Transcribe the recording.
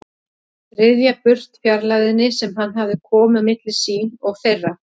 Ryðja burt fjarlægðinni sem hann hafði komið á milli sín og þeirra.